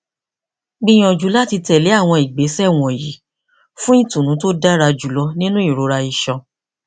gbiyanju lati tẹle awọn igbesẹ wọnyi fun itunu ti o dara julọ ninu irora iṣan